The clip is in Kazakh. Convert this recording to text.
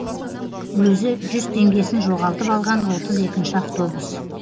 өзі жүз теңгесін жоғалтып алған отыз екінші автобус